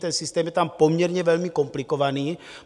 Ten systém je tam poměrně velmi komplikovaný.